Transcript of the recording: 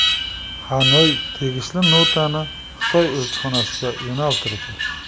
Xanoy tegishli notani Xitoy elchixonasiga yo‘naltirdi.